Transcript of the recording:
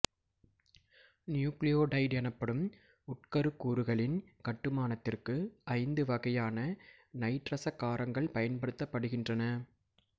nucleotide எனப்படும் உட்கருக்கூறுகளின் கட்டுமானத்திற்கு ஐந்து வகையான நைட்ரசக் காரங்கள் பயன்படுத்தப்படுகின்றன